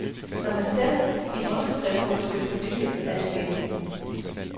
Når man sætter sin underskrift på et stykke papir, er det bindende.